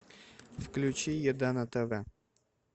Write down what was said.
включи еда на тв